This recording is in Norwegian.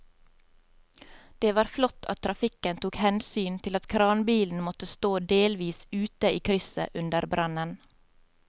Det var flott at trafikken tok hensyn til at kranbilen måtte stå delvis ute i krysset under brannen.